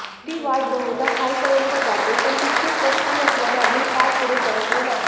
ती वाट बहुदा खालपर्यंत जाते पण तितकी स्पष्ट नसल्याने आम्ही फार पुढे सरकलो नाही